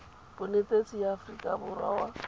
bonetetshi ya aforika borwa wa